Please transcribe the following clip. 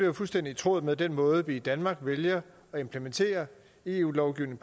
jo fuldstændig i tråd med den måde vi i danmark vælger at implementere eu lovgivning